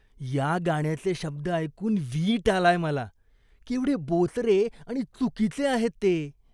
या गाण्याचे शब्द ऐकून वीट आलाय मला. केवढे बोचरे आणि चुकीचे आहेत ते.